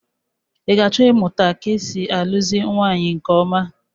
I ga-achọ ịmụta ka e si alụzi nwaanyị nke ọma?